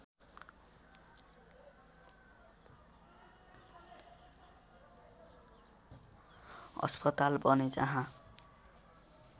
अस्पताल बने जहाँ